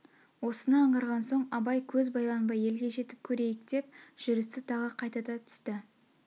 осыны аңғарған соң абай көз байланбай елге жетіп көрейк деп жүрісті тағы қатайта түсті